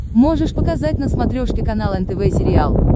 можешь показать на смотрешке канал нтв сериал